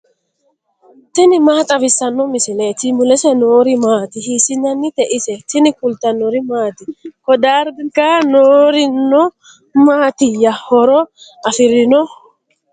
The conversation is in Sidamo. tini maa xawissanno misileeti ? mulese noori maati ? hiissinannite ise ? tini kultannori maati? Ko dariga noorinno matiiya? horo afirinno?